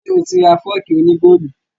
Ṣé o tí ra fọ́ọ̀kì òní góòlù